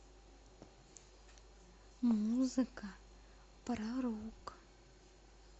музыка про рок